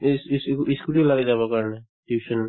ই scooter লাগে যাব কাৰণে tuition